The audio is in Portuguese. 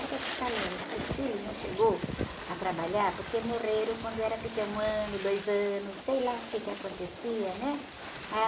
Eu estou te falando, os filhos não chegaram a trabalhar porque morreram quando era pequeno, um ano, dois anos, sei lá o quê que acontecia, né?